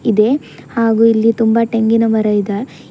ಇದೆ ಹಾಗೂ ಇಲ್ಲಿ ತುಂಬ ತೆಂಗಿನ ಮರ ಇದ.